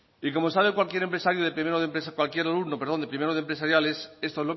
y como sabe cualquier empresario de primero de empresa cualquier alumno perdón de primero de empresariales esto